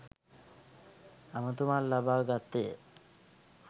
ඇමතුමක් ලබා ගත්තේය.